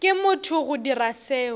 ke motho go dira seo